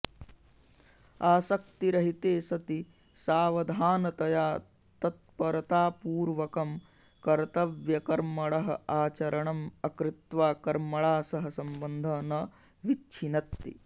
आसक्तिरहिते सति सावधानतया तत्परतापूर्वकं कर्तव्यकर्मणः आचरणम् अकृत्वा कर्मणा सह सम्बन्धः न विच्छिनत्ति